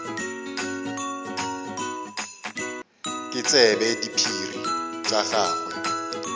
ke tsebe diphiri tša gagwe